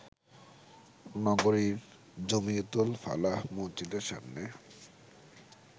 নগরীর জমিয়তুল ফালাহ মসজিদের সামনে